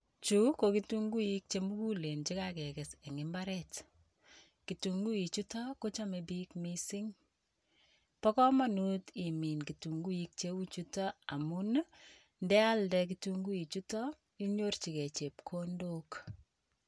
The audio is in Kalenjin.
Chu ko kitunguik che mugulen chekakekes eng' mbaret. Kitunguichuto ko chome biik mising. Bo komonut imin kitunguik cheu chutok amun, ndealde kitunguichuto inyorchikei chepkondok.